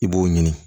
I b'o ɲini